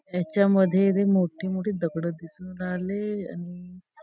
ह्याच्या मध्ये ते मोठं मोठी दगड दिसून राहिले आणि--